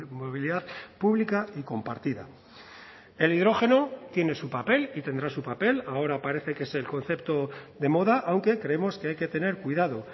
movilidad pública y compartida el hidrógeno tiene su papel y tendrá su papel ahora parece que es el concepto de moda aunque creemos que hay que tener cuidado